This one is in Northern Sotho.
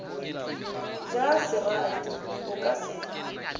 ja serati o ka se